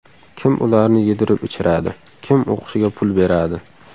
Kim ularni yedirib ichiradi, kim o‘qishiga pul beradi?